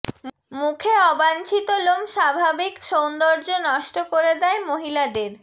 মুখে অবাঞ্ছিত লোম স্বাভাবিক সৌন্দর্য নষ্ট করে দেয় মহিলাদের